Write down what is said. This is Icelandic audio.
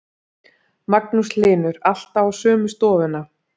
Magnús Hlynur: Alltaf á sömu stofuna?